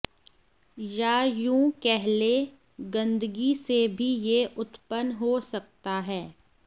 या यूं कह लें गंदगी से भी यह उत्पन्न हो सकता है